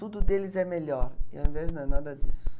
Tudo deles é melhor e ao invés não é nada disso.